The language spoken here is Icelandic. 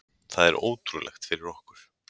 Það er ótrúlegt fyrir okkur.